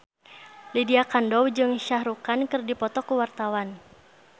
Lydia Kandou jeung Shah Rukh Khan keur dipoto ku wartawan